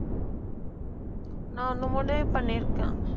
நான் ஒண்ணு முடிவு பண்ணியிருக்கேன்